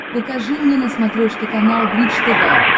покажи мне на смотрешке канал бридж тв